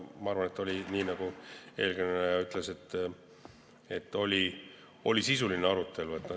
Ma arvan ka, et oli, nii nagu eelkõneleja ütles, sisuline arutelu.